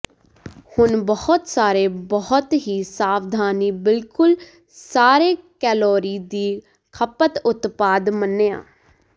ਹੁਣ ਬਹੁਤ ਸਾਰੇ ਬਹੁਤ ਹੀ ਸਾਵਧਾਨੀ ਬਿਲਕੁਲ ਸਾਰੇ ਕੈਲੋਰੀ ਦੀ ਖਪਤ ਉਤਪਾਦ ਮੰਨਿਆ